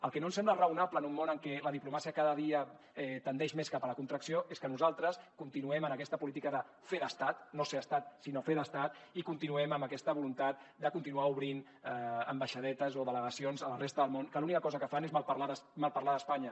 el que no ens sembla raonable en un món en què la diplomàcia cada dia tendeix més cap a la contracció és que nosaltres continuem en aquesta política de fer d’estat no ser estat sinó fer d’estat i continuem amb aquesta voluntat de continuar obrint ambaixadetes o delegacions a la resta del món que l’única cosa que fan és malparlar d’espanya